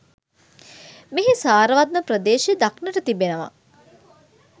මෙහි සාරවත්ම ප්‍රදේශ දක්නට තිබෙනවා.